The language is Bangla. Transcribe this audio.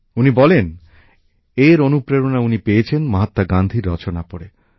উনি বলেন এর অনুপ্রেরণা উনি পেয়েছেন মহাত্মা গান্ধীর রচনা পড়ে